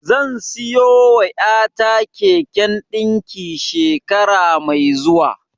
Zan siyowa ƴata keken ɗinki shekara mai zuwa.